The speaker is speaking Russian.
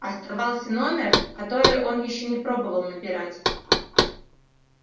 оставался номер который он ещё не пробовал набирать